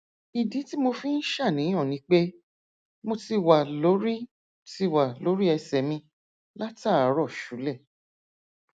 ìdí tí mo fi ń ṣàníyàn ni pé mo ti wà lórí ti wà lórí ẹsẹ mi látàárọ ṣúlẹ